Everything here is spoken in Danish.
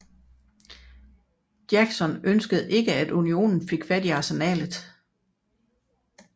Jackson ønskede ikke at Unionen fik fat i arsenalet